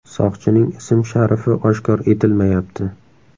Soqchining ism-sharifi oshkor etilmayapti.